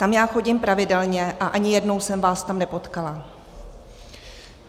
Tam já chodím pravidelně, a ani jednou jsem vás tam nepotkala.